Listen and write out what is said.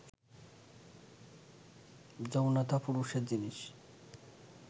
যৌনতা পুরুষের জিনিস